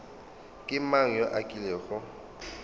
ke mang yo a kilego